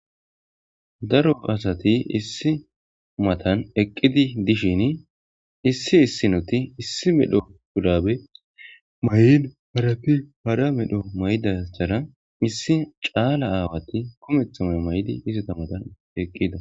daro asati issi matan eqqidi dishin issi issi noti issi medho gudabe may7in harapi para medho mayda sara issi caala aawati komethame may7di isita matan eqqida